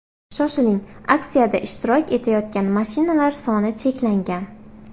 Shoshiling aksiyada ishtirok etayotgan mashinalar soni cheklangan.